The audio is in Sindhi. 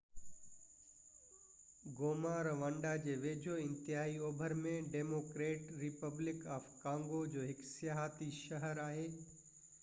گوما روانڊا جي ويجهو انتهائي اوڀر ۾ ڊيموڪريٽڪ ريپبلڪ آف ڪانگو جو هڪ سياحتي شهر آهي